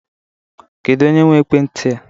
Kedụ onye nwe ekwenti a?